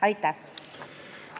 Aitäh!